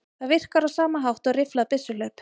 Það virkar á sama hátt og rifflað byssuhlaup.